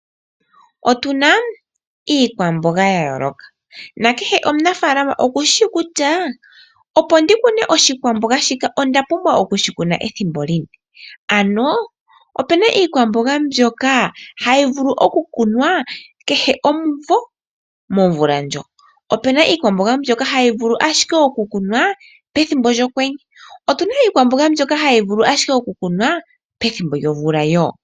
Otu na iikwamboga ya yooloka nakehe omunafaalama okushi shi kutya opo a kune oshikwamboga shika okwa pumbwa okushikuna ethimbo lini. Opu na iikwamboga mbyoka hayi vulu okukunwa kehe ethimbo momvula ndjoka. Opu na iikwamboga hayi vulu owala okukunwa pethimbo lyokwenye, opu na iikwamboga mbyoka hayi vulu ashike okukunwa pethimbo lyomvula wo.